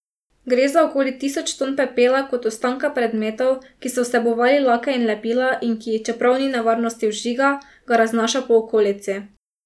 Gre za okoli tisoč ton pepela kot ostanka predmetov, ki so vsebovali lake in lepila, in ki, čeprav ni nevarnosti vžiga, ga raznaša po okolici.